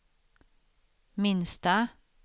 minsta